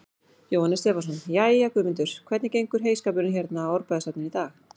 Jóhannes Stefánsson: Jæja, Guðmundur, hvernig gengur heyskapurinn hérna í Árbæjarsafninu í dag?